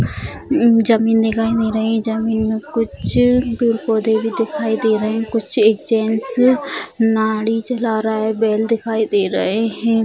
हम्म जमीन दिखाई दे रही जमीन में कुछ अ दुर पौधे भी दिखाई दे रहे हैं कुछ एक जेंट्स अ नाडी चला रहा है बैल दिखाई दे रहे हैं।